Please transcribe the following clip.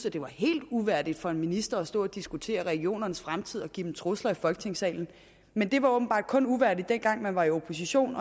at det var helt uværdigt for en minister at stå og diskutere regionernes fremtid og give dem trusler i folketingssalen men det var åbenbart kun uværdigt dengang man var i opposition